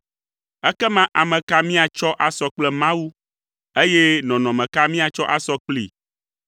Ekema ame ka míatsɔ asɔ kple Mawu, eye nɔnɔme ka míatsɔ asɔ kplii?